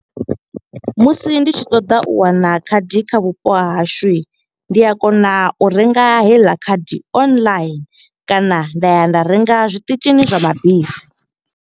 Musi ndi tshi ṱoḓa u wana khadi kha vhupo ha hashu. Ndi a kona u renga heiḽa khadi online, kana nda ya nda renga zwiṱitshini zwa mabisi.